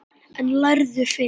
En lærðu fyrst.